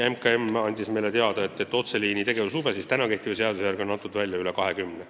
MKM-i esindaja andis meile teada, et otseliini tegevuslube on praegu kehtiva seaduse alusel välja antud veidi üle 20.